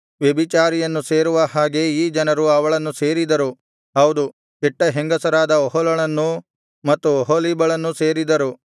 ವ್ಯಭಿಚಾರಿಯನ್ನು ಸೇರುವ ಹಾಗೆ ಈ ಜನರು ಅವಳನ್ನು ಸೇರಿದರು ಹೌದು ಕೆಟ್ಟ ಹೆಂಗಸರಾದ ಒಹೊಲಳನ್ನೂ ಮತ್ತು ಒಹೊಲೀಬಳನ್ನೂ ಸೇರಿದರು